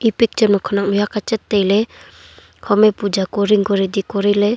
picture ma khunak mihk huak achat taile hom e puja kori ang ku ready kori le.